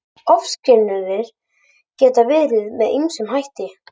Ofskynjanir geta verið með ýmsum hætti.